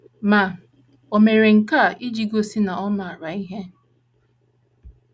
Ma, o mere nke a iji gosi na ọ maara ihe.